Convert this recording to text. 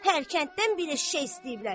Hər kənddən bir eşşək istəyirlər.